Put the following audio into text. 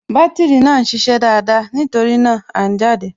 Bátìrì náà ń ṣiṣẹ́ dáadáa, nítorí náà, À ń jáde